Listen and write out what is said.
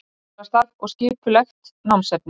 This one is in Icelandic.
Skólastarf og skipulegt námsefni